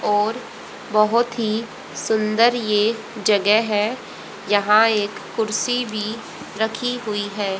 और बहुत ही सुंदर यह जगह है। यहां एक कुर्सी भी रखी हुई है।